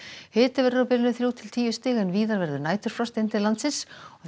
hiti veður á bilinu þrjú til tíu stig en víða verður næturfrost inn til landsins